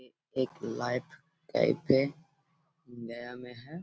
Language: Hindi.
ये एक लाइफ टाइप है। गया में है।